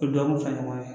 U dɔgɔkun fila ɲɔgɔn na